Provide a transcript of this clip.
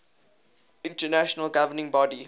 international governing body